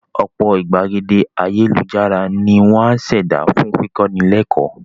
Ọ̀pọ̀ ìgbàgede ayélujára ni wọ́n á ṣẹ̀dá fún kíkọ́ni lẹ́kọ́ọ̀